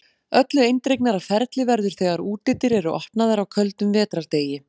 Öllu eindregnara ferli verður þegar útidyr eru opnaðar á köldum vetrardegi.